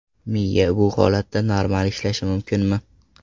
Miya bu holatda normal ishlashi mumkinmi?